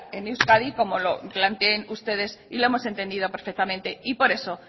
en euskadi como lo planteen ustedes y lo hemos entendido perfectamente y por eso